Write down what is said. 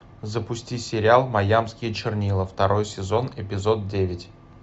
запусти сериал маямские чернила второй сезон эпизод девять